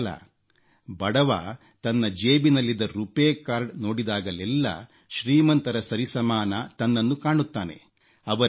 ಇಷ್ಟೇ ಅಲ್ಲ ಬಡವ ತನ್ನ ಜೇಬಿನಲ್ಲಿದ್ದ ರುಪೇ ಕಾರ್ಡ ನೋಡಿದಾಗಲೆಲ್ಲ ಶ್ರೀಮಂತರ ಸರಿಸಮಾನ ತನ್ನನ್ನು ಕಾಣುತ್ತಾನೆ